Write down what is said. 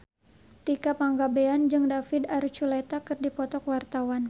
Tika Pangabean jeung David Archuletta keur dipoto ku wartawan